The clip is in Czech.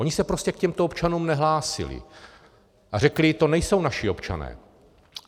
Oni se prostě k těmto občanům nehlásili a řekli: To nejsou naši občané.